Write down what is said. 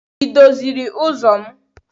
Ị doziri ụzọ m?